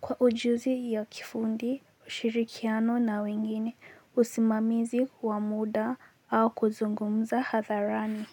kwa ujuzi wa kiufundi, ushirikiano na wengine, usimamizi wa muda au kuzungumza hadharani.